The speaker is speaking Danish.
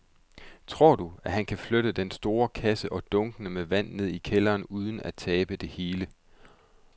Tror du, at han kan flytte den store kasse og dunkene med vand ned i kælderen uden at tabe det hele?